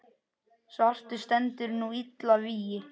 svartur stendur nú illa vígi.